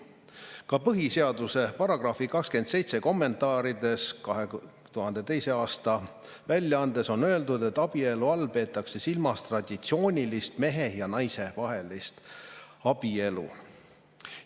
Ka põhiseaduse kommentaaride 2002. aasta väljaandes on § 27 kohta öeldud, et abielu all peetakse silmas traditsioonilist mehe ja naise vahelist abielu.